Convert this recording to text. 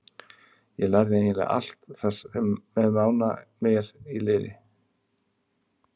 Ég lærði eiginlega allt þar með Mána með mér í liði.